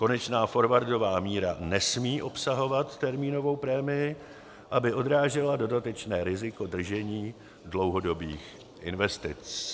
Konečná forwardová míra nesmí obsahovat termínovou prémii, aby odrážela dodatečné riziko držení dlouhodobých investic.